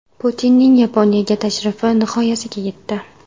Putinning Yaponiyaga tashrifi nihoyasiga yetdi.